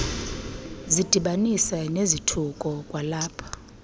zidibanise nezithuko kwalapho